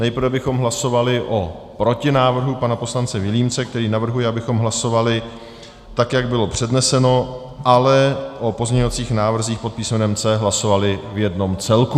Nejprve bychom hlasovali o protinávrhu pana poslance Vilímce, který navrhuje, abychom hlasovali, tak jak bylo předneseno, ale o pozměňovacích návrzích pod písmenem C hlasovali v jednom celku.